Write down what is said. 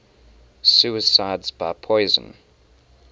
suicides by poison